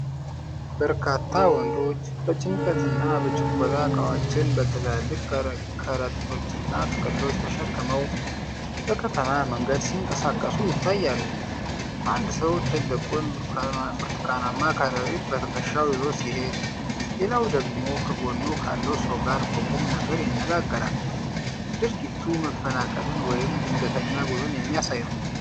በርካታ ወንዶች በጭንቀት እና በችኮላ ዕቃዎችን በትላልቅ ከረጢቶችና ጥቅሎች ተሸክመው በከተማ መንገድ ሲንቀሳቀሱ ይታያሉ። አንድ ሰው ትልቁን ብርቱካናማ ከረጢት በትከሻው ይዞ ሲሄድ፣ ሌላው ደግሞ ከጎኑ ካለው ሰው ጋር በቁም ነገር ይነጋገራል። ድርጊቱ መፈናቀልን ወይም ድንገተኛ ጉዞን የሚያሳይ ነው።